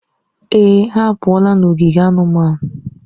Èè, ha apụọla n'ogige anụmanụ.